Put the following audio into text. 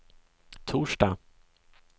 torsdag